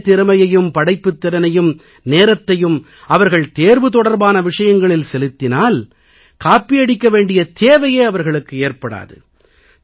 இதே திறமையையும் படைப்பாற்றலையும் நேரத்தையும் அவர்கள் தேர்வு தொடர்பான விஷயங்களில் செலுத்தினால் காப்பியடிக்க வேண்டிய தேவையே அவர்களுக்கு ஏற்படாது